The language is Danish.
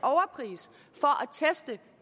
teste